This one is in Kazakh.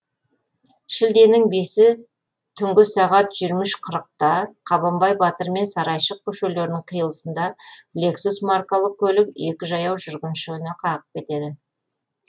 шілденің бесі түнгі сағат жиырма үш қырықта қабанбай батыр мен сарайшық көшелерінің қиылысында лексус маркалы көлік екі жаяу жүргіншіні қағып кетеді